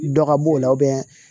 Dɔ ka b'o la